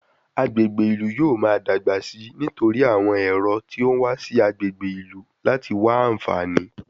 Agbègbè ìlú yóò máa dàgbà sí i nítorí àwọn ẹ̀rọ tí ó ń wá sí agbègbè ìlú láti wá àǹfààní